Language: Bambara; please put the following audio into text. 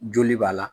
Joli b'a la